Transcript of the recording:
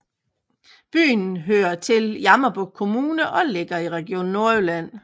Byen hører til Jammerbugt Kommune og ligger i Region Nordjylland